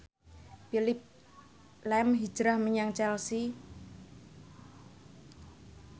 Phillip lahm hijrah menyang Chelsea